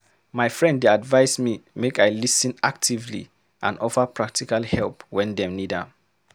My friend dey advise me make I lis ten actively and offer practical help wen dem need am.